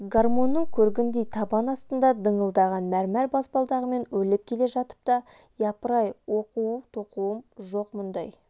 гармонның көргіндей табан астында дыңылдаған мәрмәр баспалдағымен өрлеп келе жатып та япыр-ай оқу-тоқуым жоқ мұндай